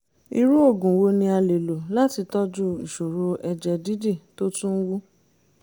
irú oògùn wo ni a le lò láti tọ́jú ìṣòro ẹ̀jẹ̀ dídì tó tún wú?